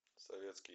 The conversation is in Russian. советский